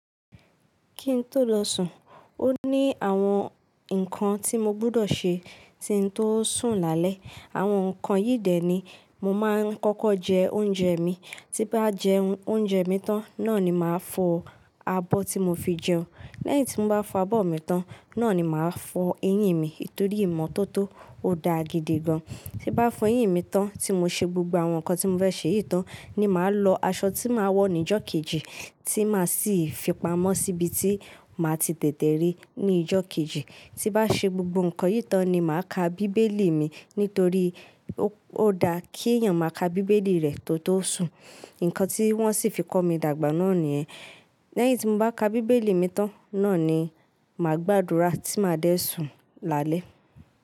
Kí ń tó lọ sùn, ó ní àwọn nǹkan tí mo gbọ́dọ̀ ṣe tí ń tó sùn lálẹ́. Àwọn nǹkan yìí dẹ̀ ni, mo máa ń kọ́kọ́ jẹ oúnjẹ mi, tí n bá jẹ oúnjẹ mi tán, náà ni màá fọ abọ́ tí mo fi jẹun. Lẹ́yìn tí mo bá fọ abọ́ mi tán, náà ni màá fọ eyín mi nítorí ìmọ́tótó ò da gidi gan. Ti bá fọ eyín mi tán tí mo ṣe gbogbo àwọn nǹkan tí mo fẹ́ ṣe yìí tán ni màá lọ aṣọ tí màá wọ ní ìjọ kejì tí màá sì fi pamọ́ síbi tí màá ti tètè rí ní ìjọ kejì. Ti bá ṣe gbogbo nǹkan yìí tán ni màá ka bíbélì mi nítorí ó da kí èèyàn máa ka bíbélì rẹ̀ kí ó tó sùn, nǹkan tí wọ́n sì fi kọ́ mi dàgbà náà ni ẹ. Lẹ́yìn tí mo bá ka bíbélì mi tán, náà ni màá gbàdúrà tí màá dẹ̀ sùn lálẹ́.